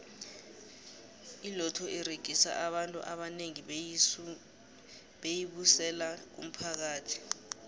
iloto uregisa abantu abanengi beyi busela kumphakathi